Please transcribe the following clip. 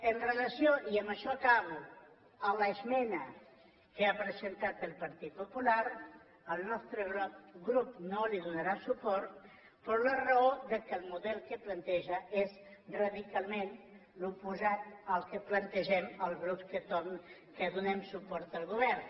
amb relació i amb això acabo a l’esmena que ha presentat el partit popular el nostre grup no li donarà suport per la raó que el model que planteja és radicalment l’oposat al que plantegem els grups que donem suport al govern